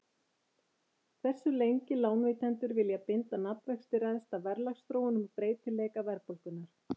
Hversu lengi lánveitendur vilja binda nafnvexti ræðst af verðlagsþróun og breytileika verðbólgunnar.